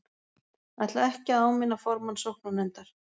Ætla ekki að áminna formann sóknarnefndar